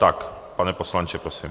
Tak, pane poslanče, prosím.